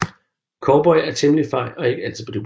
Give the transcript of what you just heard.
Cowboy er temmelig fej og ikke altid på dupperne